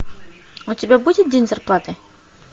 у тебя будет день зарплаты